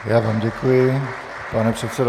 Já vám děkuji, pane předsedo.